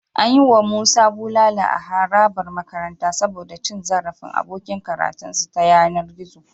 An yi wa Musa bulala a harabar makaranta saboda cin zarafin abokin karatunsa ta yanar gizo.